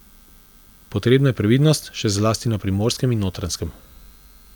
Potrebna je previdnost, še zlasti na Primorskem in Notranjskem.